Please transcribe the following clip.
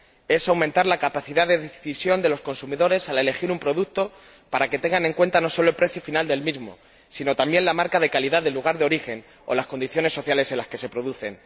Es aumentar la capacidad de decisión de los consumidores al elegir un producto para que tengan en cuenta no solo el precio final del mismo, sino también la marca de calidad del lugar de origen o las condiciones sociales en las que se produce.